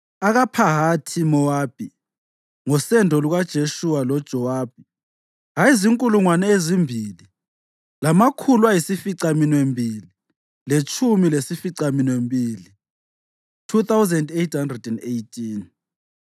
akaPhahathi-Mowabi (ngosendo lukaJeshuwa loJowabi) ayezinkulungwane ezimbili lamakhulu ayisificaminwembili letshumi lasificaminwembili (2,818),